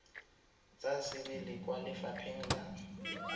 ka sebele kwa lefapheng la